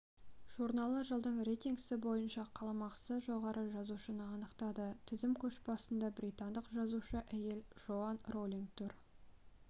журналы жылдың рейтингісі бойынша қаламақысы жоғары жазушыны анықтады тізім көшбасында британдық жазушы әйел джоан роулинг тұр